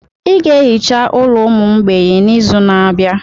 I ga-ehicha ụlọ ụmụ mgbei n'izu na-abịa.